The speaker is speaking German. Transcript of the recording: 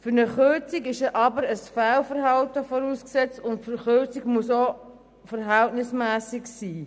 Voraussetzung für eine Kürzung ist jedoch ein Fehlverhalten, und die Kürzung muss auch verhältnismässig sein.